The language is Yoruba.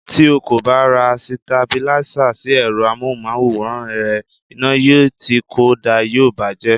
Tí o kò bá ra Sitabílísà sí èrọ amóhùnmáwòrán rẹ, iná yìí tí kò da yóò bàa jẹ́.